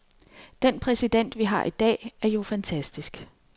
Den præsident, vi har i dag, er jo fantastisk.